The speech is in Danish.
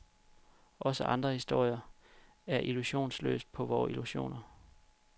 Også andre historier ser illusionsløst på vore illusioner.